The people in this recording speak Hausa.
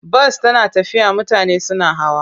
Bas tana tafiya mutane suna hawa.